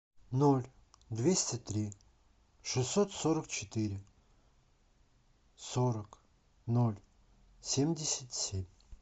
ноль двести три шестьсот сорок четыре сорок ноль семьдесят семь